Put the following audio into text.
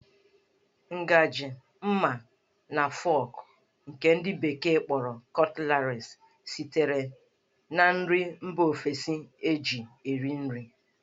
Ngajị, ḿmá, na fọk nke ndi bekee kpọrọ 'cutleries' sitere na nri mba ofesi eji eri nri.